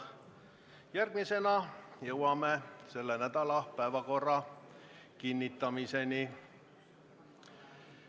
Järgmisena jõuame selle nädala päevakorra kinnitamiseni.